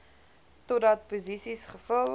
totdat posisies gevul